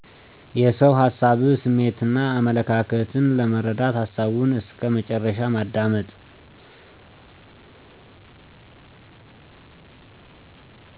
የሰውን ሀሳብ : ስሜትና አመለካከት ለመረዳት ሀሳቡን እስከ መጨረሻው ማዳመጥ